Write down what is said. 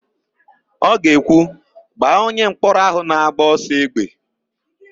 Ọ ga-ekwu, "gbaa onyemkpọrọ áhụ̀ na-agba ọsọ égbè"!